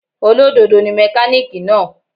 Olódodo ni mẹ́kánìkì náà.